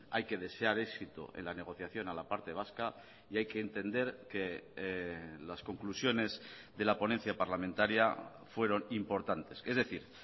hay que desear éxito en la negociación a la parte vasca y hay que entender que las conclusiones de la ponencia parlamentaria fueron importantes es decir